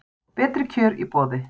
Betri kjör í boði